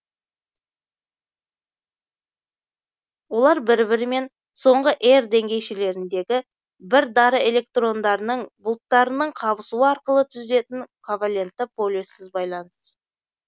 олар бір бірімен соңғы р деңгейшелеріндегі бір дара электрондарының бұлттарының қабысуы арқылы түзілетін ковалентті полюссіз байланыс